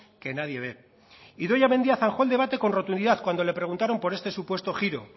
que nadie ve idoia mendia zanjó el debate con rotundidad cuando le preguntaron por este supuesto giro